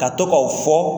Ka to ka o fɔ